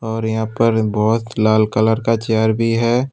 और यहां पर बहुत लाल कलर का चेयर भी है।